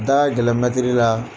Da ka gɛlɛn la.